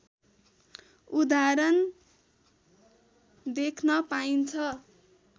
उदाहरण देख्न पाइन्छ